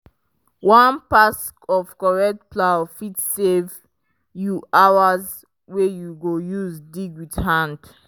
one pass of correct plow fit save you hours wey you go use dig with hand.